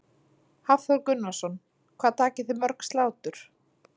Hafþór Gunnarsson: Hvað takið þið mörg slátur?